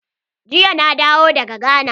Jiya na dawo daga gana.